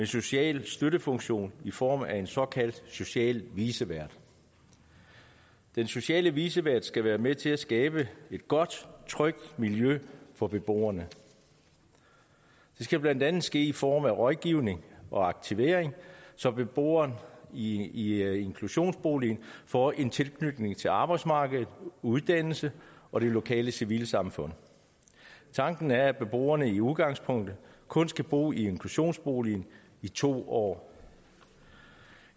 social støttefunktion i form af en såkaldt social vicevært den sociale vicevært skal være med til at skabe et godt og trygt miljø for beboerne det skal blandt andet ske i form af rådgivning og aktivering så beboeren i inklusionsboligen får en tilknytning til arbejdsmarkedet uddannelse og det lokale civilsamfund tanken er at beboerne i udgangspunktet kun skal bo i inklusionsboligen i to år